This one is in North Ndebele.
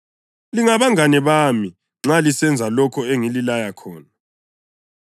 Lingabangane bami nxa lisenza lokho engililaya khona.